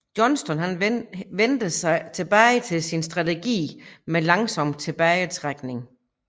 Johnston vendte tilbage til sin strategi med langsom tilbagetrækning